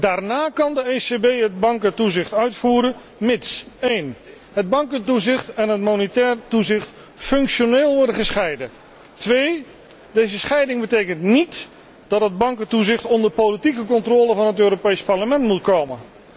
Daarna kan de ECB het bankentoezicht uitvoeren, mits het bankentoezicht en het monetair toezicht functioneel worden gescheiden, en mits deze scheiding niet betekent dat het bankentoezicht onder politieke controle van het Europees Parlement moet komen.